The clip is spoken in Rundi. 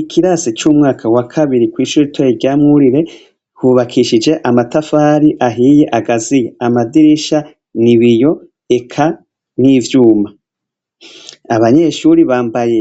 Ikirasi c'umwaka wa kabiri kw'ishuri ritoye ryamwurire hubakishije amatafari ahiye agaziya, amadirisha n’ibiyo eka n'ivyuma abanyeshuri bambaye